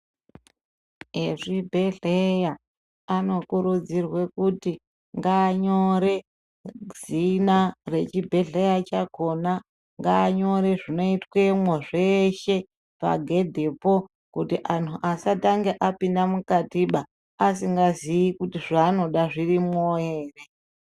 Ezvibhedhlera anokurudzirwe kuti anyore zina rechibhedhlera chakhona, ngaanyore zveshe zvinoitwapo pagedhipo kuitire antu asatanga apinda mukatiba asingazii kuti zvaanoda zvirimwo ere.